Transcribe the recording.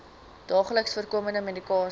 daagliks voorkomende medikasie